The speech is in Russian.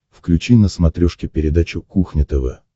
включи на смотрешке передачу кухня тв